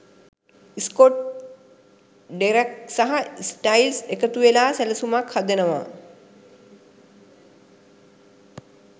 Scott Derek සහ Stiles එකතුවෙලා සැලසුමක් හදනවා